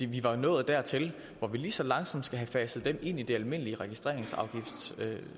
vi var nået dertil hvor vi lige så langsomt skulle have indfaset dem i det almindelige registreringsafgiftssystem det